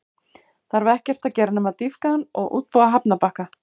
Þarf ekkert að gera nema að dýpka hann og útbúa hafnarbakka.